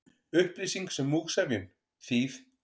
Upplýsing sem múgsefjun, þýð.